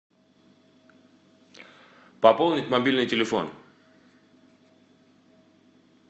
пополнить мобильный телефон